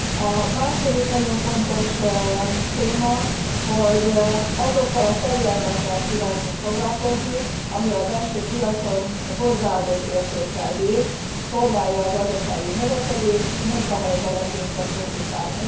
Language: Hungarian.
A második nagyon fontos téma, hogy azokkal a területekkel kívántunk foglalkozni, amelyek a belső piacon hozzáadott értékkel bírnak, szolgálják a gazdasági növekedést, munkahelyteremtésre fókuszálnak.